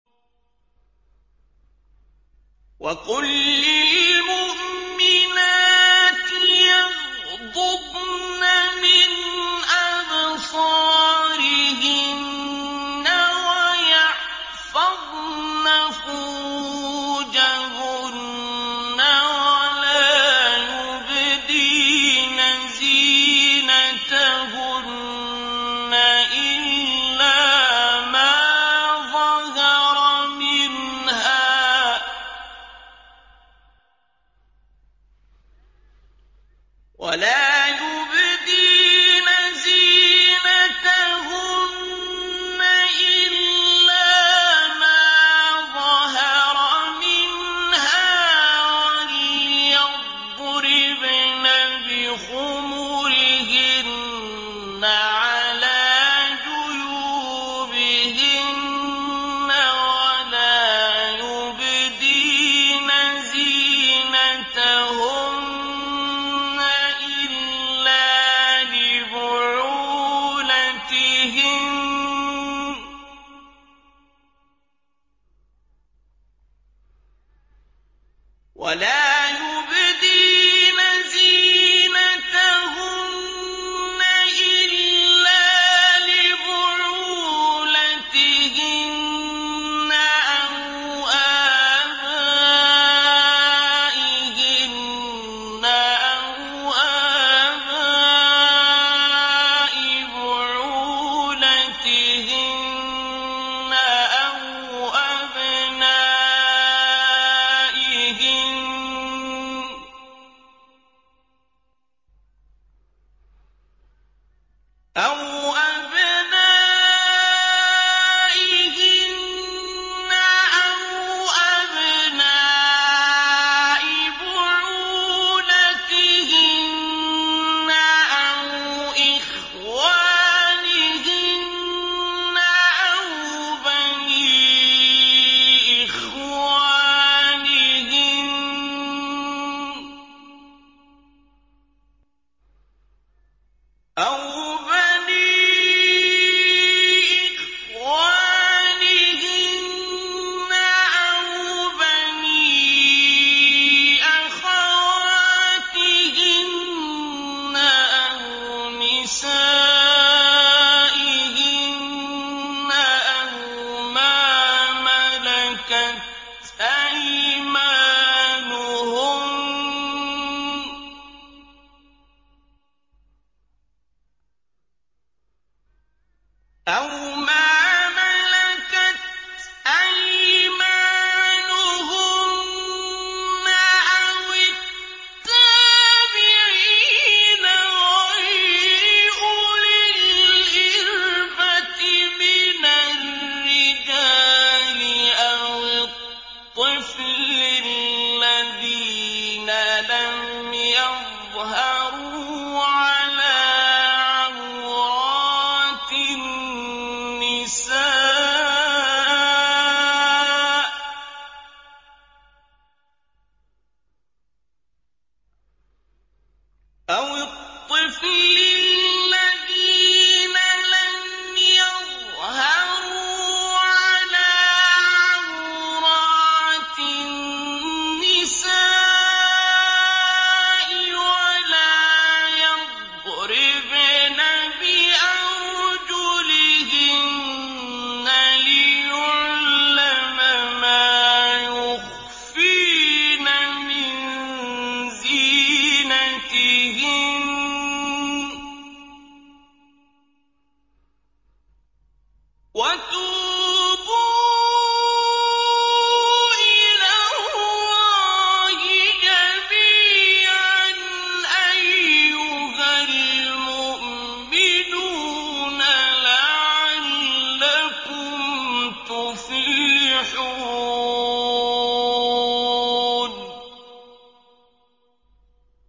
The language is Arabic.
وَقُل لِّلْمُؤْمِنَاتِ يَغْضُضْنَ مِنْ أَبْصَارِهِنَّ وَيَحْفَظْنَ فُرُوجَهُنَّ وَلَا يُبْدِينَ زِينَتَهُنَّ إِلَّا مَا ظَهَرَ مِنْهَا ۖ وَلْيَضْرِبْنَ بِخُمُرِهِنَّ عَلَىٰ جُيُوبِهِنَّ ۖ وَلَا يُبْدِينَ زِينَتَهُنَّ إِلَّا لِبُعُولَتِهِنَّ أَوْ آبَائِهِنَّ أَوْ آبَاءِ بُعُولَتِهِنَّ أَوْ أَبْنَائِهِنَّ أَوْ أَبْنَاءِ بُعُولَتِهِنَّ أَوْ إِخْوَانِهِنَّ أَوْ بَنِي إِخْوَانِهِنَّ أَوْ بَنِي أَخَوَاتِهِنَّ أَوْ نِسَائِهِنَّ أَوْ مَا مَلَكَتْ أَيْمَانُهُنَّ أَوِ التَّابِعِينَ غَيْرِ أُولِي الْإِرْبَةِ مِنَ الرِّجَالِ أَوِ الطِّفْلِ الَّذِينَ لَمْ يَظْهَرُوا عَلَىٰ عَوْرَاتِ النِّسَاءِ ۖ وَلَا يَضْرِبْنَ بِأَرْجُلِهِنَّ لِيُعْلَمَ مَا يُخْفِينَ مِن زِينَتِهِنَّ ۚ وَتُوبُوا إِلَى اللَّهِ جَمِيعًا أَيُّهَ الْمُؤْمِنُونَ لَعَلَّكُمْ تُفْلِحُونَ